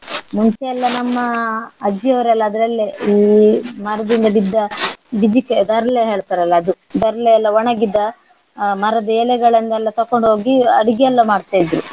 ಮುಂಚೆ ಎಲ್ಲ ನಮ್ಮ ಅಜ್ಜಿಯವರೆಲ್ಲ ಅದ್ರಲ್ಲೇ ಈ ಮರುದಿನ ಬಿದ್ದ ಬಿಜಿಕ್ರೆ ದರ್ಲೆ ಹೇಳ್ತಾರಲ್ಲ ಅದು. ದರ್ಲೆ ಎಲ್ಲ ಒಣಗಿದ ಆ ಮರದ್ದು ಎಲೆಗಳನ್ನೆಲ್ಲ ತಕೊಂಡು ಹೋಗಿ ಅಡಿಗೆಲ್ಲ ಮಾಡ್ತಾ ಇದ್ರು.